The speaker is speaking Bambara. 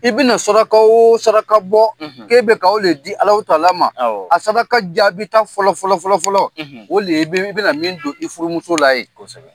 I bi na saraka o saraka bɔ k'e bo di Alahu tala ma , a saraka jaabi ta fɔlɔ fɔlɔ fɔlɔ o de ye i bi na min don i furumusola ye.